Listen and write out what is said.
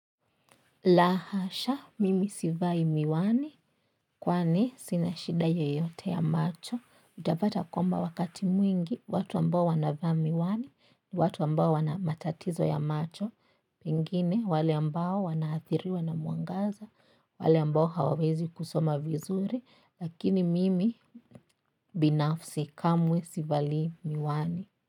La hasha mimi sivai miwani kwani sina shida yeyote ya macho utapata kwamba wakati mwingi watu ambao wanavaa miwani ni watu ambao wana matatizo ya macho pengine wale ambao wanaathiriwa na mwangaza wale ambao hawawezi kusoma vizuri lakini mimi binafsi kamwe sivalii miwani.